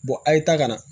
a' ye taa ka na